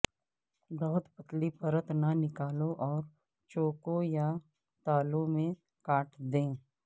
بہت پتلی پرت نہ نکالو اور چوکوں یا تالوں میں کاٹ دیں